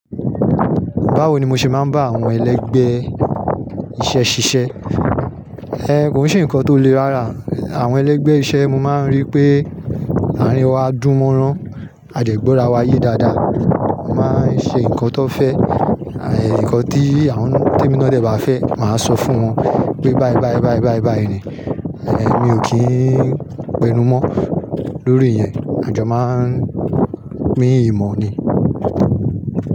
Báwo ni mo ṣe máa ń bá àwọn ẹlẹgbẹ́ iṣẹ́ ṣiṣẹ́? En- Ẹn kò se ǹkan tó le rárá. Àwọn ẹlẹgbẹ́ iṣẹ́, mo máa ń rí pé àrìnwá dun mọ́ran, a dẹ gbọ́ra wa yé dáadáa. Mo máa ń ṣe ǹkan tó fẹ́, ǹkan tí àwọn tí emi na bá fẹ́, màá sọ fún wọn pé báí báí báí báí báí ni. Ẹ̀mi o kín pé numọ́ lórí ìyẹn, ajo máa ń pín ìmọ̀ ni.